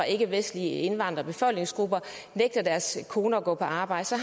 ikkevestlige indvandrere nægter deres koner at gå på arbejde så